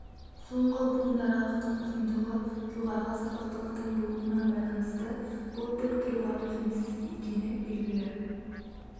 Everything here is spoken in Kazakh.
соңғы буынаралықтың ұзындығы жоғарғы сабақтылықтың болуына байланысты бұл тік тұруға төзімсіз екені белгілі